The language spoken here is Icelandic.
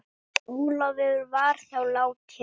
Ólafur var þá látinn.